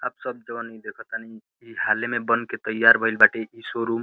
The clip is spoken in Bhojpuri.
आप सब जवन ई देखतानी ई हाले में बन के तईयार भइल बाटे ई शोरूम ।